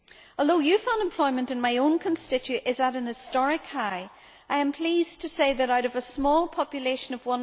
Although youth unemployment in my own constituency is at an historic high, I am pleased to say that out of a small population of